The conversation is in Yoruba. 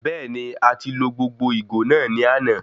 Bẹẹni, a ti lo gbogbo ìgò náà ní àna